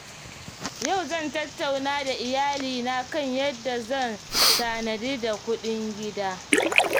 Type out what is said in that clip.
Yau zan tattauna da iyalina kan yadda zan tanadi da kuɗin gida.